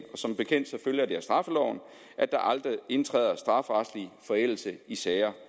som bekendt følger det af straffeloven at der aldrig indtræder strafferetlig forældelse i sager